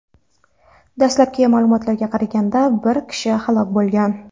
Dastlabki ma’lumotlarga qaraganda, bir kishi halok bo‘lgan.